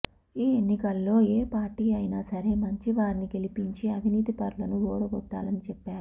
ఈ ఎన్నికల్లో ఏ పార్టీ అయిన సరే మంచి వారిని గెలిపించి అవినీతి పరులను ఓడగొట్టాలని చెప్పారు